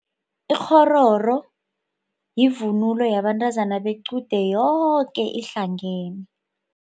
Ikghororo yivunulo yabantazana bequde yoke ihlangene.